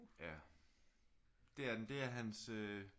Ja det er den det er hans øh